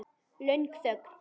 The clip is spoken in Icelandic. Löng þögn.